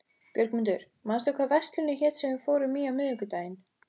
Björgmundur, manstu hvað verslunin hét sem við fórum í á miðvikudaginn?